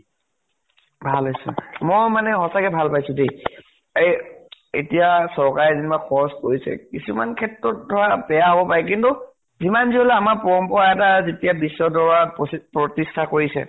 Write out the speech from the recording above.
ভাল হৈছে। মই মানে সঁচাকে ভাল পাইছো দেই। এই এতিয়া চৰকাৰে যেনিবা খৰচ কৰিছেই, কিছুমান ক্ষেত্ৰত বেয়া হব পাৰে। কিন্তু যিমান যি হলেও আমাৰ পৰম্পৰা এটা যেতিয়া বিশ্ব দৰ্বাৰত প্ৰচি প্ৰতিষ্ঠা কৰিছে